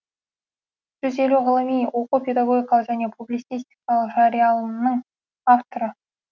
жүз елу ғылыми оқу педагогикалық және публицистикалық жарияланымның авторы